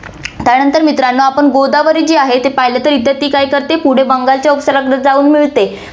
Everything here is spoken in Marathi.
त्यानंतर मित्रांनो, आपण गोदावरी जी आहे, ती पहिलं इथे तर ती काय करते, पुढे बंगालच्या उपसागराला जाऊन मिळते.